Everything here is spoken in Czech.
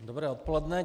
Dobré odpoledne.